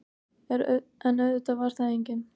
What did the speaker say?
En auðvitað var þar enginn.